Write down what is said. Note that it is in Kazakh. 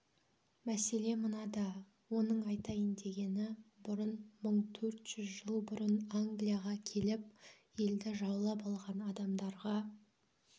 мәселе мынада оның айтайын дегені бұдан мың төрт жүз жыл бұрын англияға келіп елді жаулап алған адамдарға